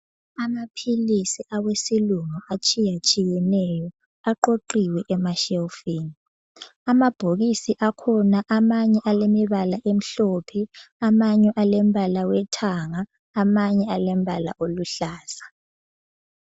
Amaphilisi awesilungu atshiyatshiyeneyo aqoqiwe emashelfini. Amabhokisi akhona amanye alemibala emhlophe, amanye elimbala wethanga, amanye alembala oluhlaza.